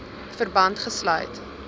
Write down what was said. verband gesluit